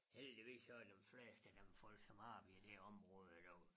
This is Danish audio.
Heldigvis så er dem fleste af dem folk som har vi det område i dag